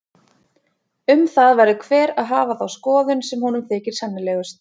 Um það verður hver að hafa þá skoðun sem honum þykir sennilegust.